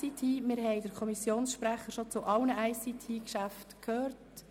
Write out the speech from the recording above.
Wir haben den Kommissionssprecher schon zu allen ICT-Themen gehört.